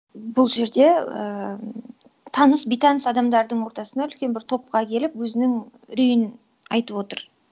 бұл жерде ііі м таныс бейтаныс адамдардың ортасына үлкен бір топқа келіп өзінің үрейін айтып отыр